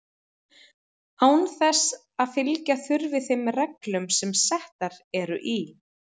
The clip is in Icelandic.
án þess að fylgja þurfi þeim reglum sem settar eru í